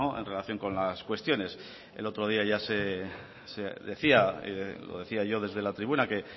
en relación con las cuestiones el otro día ya se decía lo decía yo desde la tribuna que